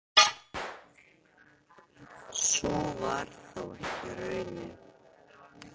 Sú varð þó ekki raunin.